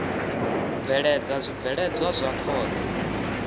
u bveledza zwibveledzwa zwa khovhe